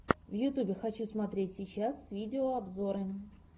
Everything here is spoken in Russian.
в ютубе хочу смотреть сейчас видеообзоры